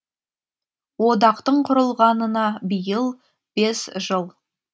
одақтың құрылғанына биыл бес жыл